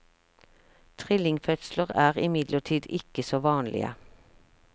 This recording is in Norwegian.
Trillingfødsler er imidlertid ikke så vanlige.